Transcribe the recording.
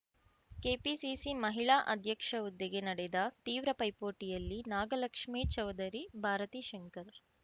KPCC ಮಹಿಳಾ ಅಧ್ಯಕ್ಷ ಹುದ್ದೆಗೆ ನಡೆದ ತೀವ್ರ ಪೈಪೋಟಿಯಲ್ಲಿ ನಾಗಲಕ್ಷ್ಮೇ ಚೌದರಿ ಭಾರತಿ ಶಂಕರ್